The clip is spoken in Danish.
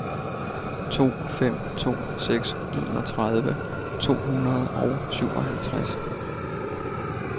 to fem to seks enogtredive to hundrede og syvoghalvtreds